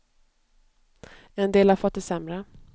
En del har fått det sämre.